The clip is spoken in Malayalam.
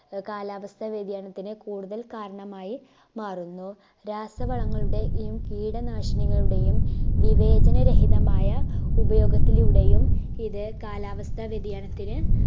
ആഹ് കാലാവസ്ഥ വ്യതിയാനത്തിന് കൂടുതൽ കാരണമായി മാറുന്നു രാസവളങ്ങളുടെയും കീടനാശിനികളുടെയും വിവേചന രഹിതമായ ഉപയോഗത്തിലൂടെയും ഇത് കാലാവസ്ഥ വ്യതിയാനത്തിന്